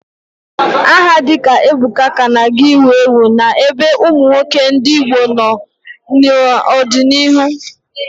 Aha dịka Ebuka ka ga na-ewu ewu n'ebe ụmụ nwoke ndị Igbo nọ n'ọdịnihu.